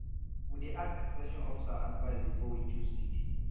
we dey ask ex ten sion officer advice before we choose seed